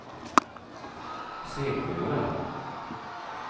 Seglora